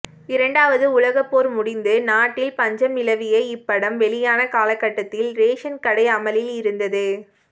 இரண்டாவது உலகப் போர் முடிந்து நாட்டில் பஞ்சம் நிலவிய இப்படம் வெளியான காலகட்டத்தில் ரேஷன் கடை அமலில் இருந்தது